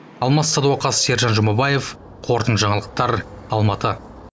алмас садуақас сержан жұмабаев қорытынды жаңалықтар алматы